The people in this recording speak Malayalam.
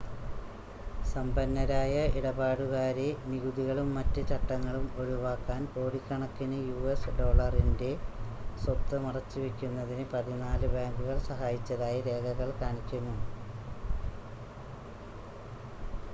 സമ്പന്നരായ ഇടപാടുകാരെ നികുതികളും മറ്റ് ചട്ടങ്ങളും ഒഴിവാക്കാൻ കോടിക്കണക്കിന് യുഎസ് ഡോളറിൻ്റെ സ്വത്ത് മറച്ചുവയ്ക്കുന്നതിന് പതിനാല് ബാങ്കുകൾ സഹായിച്ചതായി രേഖകൾ കാണിക്കുന്നു